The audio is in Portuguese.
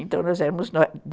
Então, nós éramos